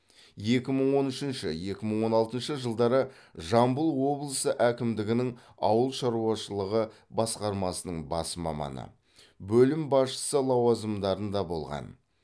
екі мың он үшінші екі мың он алтыншы жылдары жамбыл облысы әкімдігінің ауыл шаруашылығы басқармасының бас маманы бөлім басшысы лауазымдарында болған